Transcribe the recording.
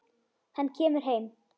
Hann kemur heim.